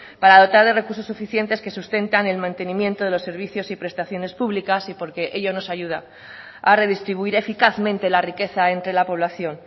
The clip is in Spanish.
para dotar de recursos suficientes que sustentan el mantenimiento de los servicios y prestaciones públicas y porque ello nos ayuda a redistribuir eficazmente la riqueza entre la población